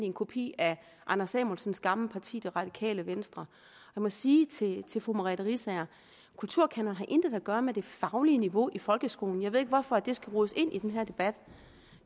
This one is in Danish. en kopi af herre anders samuelsens gamle parti det radikale venstre jeg må sige til til fru merete riisager at kulturkanonen intet har at gøre med det faglige niveau i folkeskolen jeg ved ikke hvorfor det skal rodes ind i den her debat